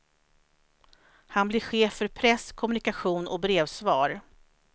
Han blir chef för press, kommunikation och brevsvar.